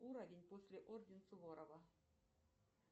уровень после орден суворова